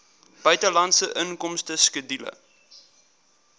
buitelandse inkomste skedule